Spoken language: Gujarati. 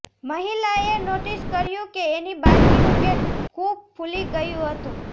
મહિલાએ નોટિસ કર્યું કે એની બાળકીનું પેટ ખૂબ ફૂલી ગયું હતું